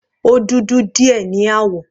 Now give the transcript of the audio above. Ó dudu díẹ̀ ní àwọ̀.